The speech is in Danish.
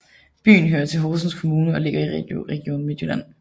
Byen hører til Horsens Kommune og ligger i Region Midtjylland